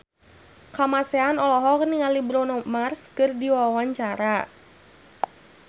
Kamasean olohok ningali Bruno Mars keur diwawancara